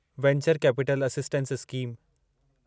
venture capital assistance scheme